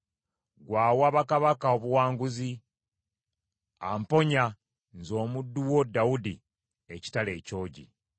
ggwe awa bakabaka obuwanguzi; amponya, nze omuddu wo Dawudi, ekitala ekyogi.